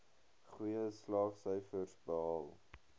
goeie slaagsyfers behaal